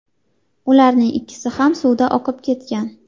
Ularning ikkisi ham suvda oqib ketgan.